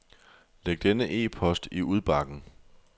Læg denne e-post i udbakken.